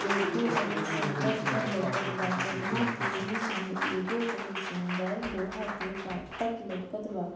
एगो बहुत सुंदर घर लउकत बा जवना के बीच मे एगो बहुत सुंदर लोहा के फाटक लउकत बा।